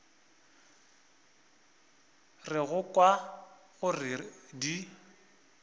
re go kwa gore di